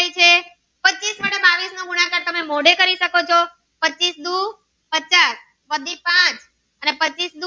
એના કરતા તમે મોઢે કરી શકો ચો પચીસ દુ પચાસ વળી પાંચ અને પચીસ